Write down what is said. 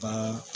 Baara